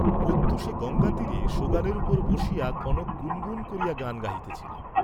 প্রত্যূষে গঙ্গা তীরে সোগানের উপর বসিয়া কনক গুণগুণ করিয়া গান গাহিতেছিল।